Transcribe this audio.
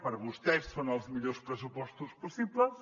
per vostès són els millors pressupostos possibles